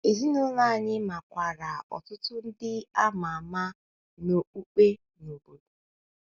Ezinụlọ anyị makwaara ọtụtụ ndị a ma ama n’okpukpe na n’obodo.